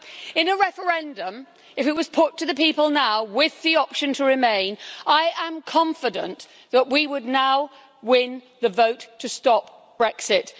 In a referendum, if it was put to the people now with the option to remain, I am confident that we would now win the vote to stop Brexit.